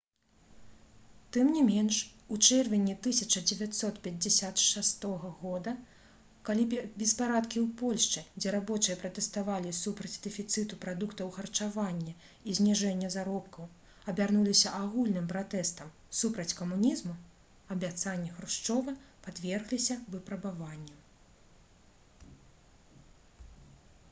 тым не менш у чэрвені 1956 г калі беспарадкі ў польшчы дзе рабочыя пратэставалі супраць дэфіцыту прадуктаў харчавання і зніжэння заробкаў абярнуліся агульным пратэстам супраць камунізму абяцанні хрушчова падвергліся выпрабаванню